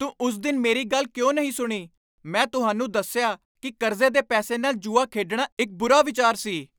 ਤੂੰ ਉਸ ਦਿਨ ਮੇਰੀ ਗੱਲ ਕਿਉਂ ਨਹੀਂ ਸੁਣੀ? ਮੈਂ ਤੁਹਾਨੂੰ ਦੱਸਿਆ ਕਿ ਕਰਜ਼ੇ ਦੇ ਪੈਸੇ ਨਾਲ ਜੂਆ ਖੇਡਣਾ ਇੱਕ ਬੁਰਾ ਵਿਚਾਰ ਸੀ।